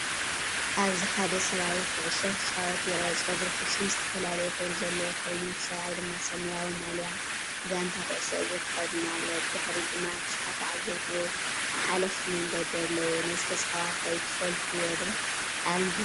ኣብዚሓደ ሰብኣይ ኩዕሶ ክጻወት ይርአ። ጸጉሩ ፍጹም ዝተፈላለየ ሕብሪ ዘለዎ ኮይኑ፡ እቲ ሰብኣይ ድማ ሰማያዊ ማልያ ጋንታ ኩዕሶ እግሪ ተኸዲኑ ኣሎ። ብድሕሪት ድማ ብዙሓት ተዓዘብቲ ወይ ሓለፍቲ መንገዲ ኣለዉ። ነዚ ተጻዋታይ ትፈልጥዎ ዶ? ኣብ እንታይ ጋንታ ይፃወት?